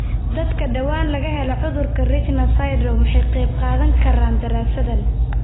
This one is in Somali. Dadka dhawaan laga helay cudurka Richter syndrome way ka qayb qaadan karaan daraasaddan.